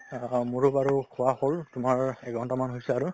অ, মোৰো বাৰু খোৱা হ'ল তোমাৰ এঘণ্টামান হৈছে আৰু